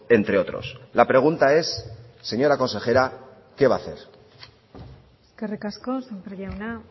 entre otros la pregunta es señora consejera qué va a hacer eskerrik asko sémper jauna